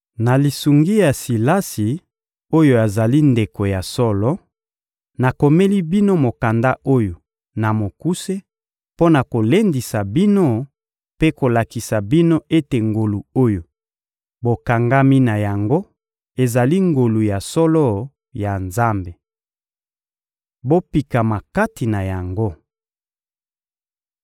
Na lisungi ya Silasi oyo azali ndeko ya solo, nakomeli bino mokanda oyo na mokuse mpo na kolendisa bino mpe kolakisa bino ete ngolu oyo bokangami na yango ezali ngolu ya solo ya Nzambe. Bopikama kati na yango.